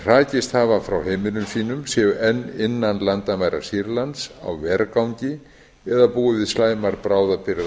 hrakist hafa frá heimilum sínum séu enn innan landamæra sýrlands á vergangi eða búi við slæmar bráðabirgðaaðstæður